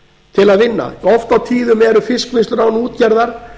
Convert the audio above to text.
til að vinna oft á tíðum eru fiskvinnslur án útgerðar